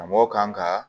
Karamɔgɔ kan ka